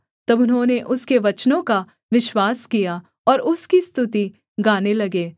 तब उन्होंने उसके वचनों का विश्वास किया और उसकी स्तुति गाने लगे